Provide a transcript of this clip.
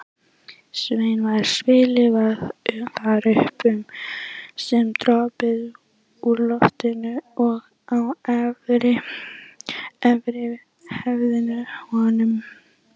Sveini var stillt þar upp sem dropaði úr loftinu og á höfuð honum.